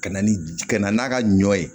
Ka na ni ka na n'a ka ɲɔ ye